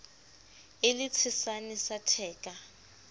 e le tshesane sa theka